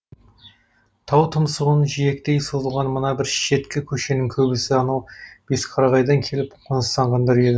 тау тұмсығын жиектей созылған мына бір шеткі көшенің көбісі анау бесқарағайдан келіп қоныстанғандар еді